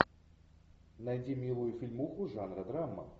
найди милую фильмуху жанра драма